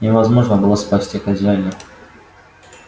невозможно было спасти хозяина